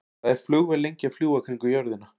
Hvað er flugvél lengi að fljúga kringum jörðina?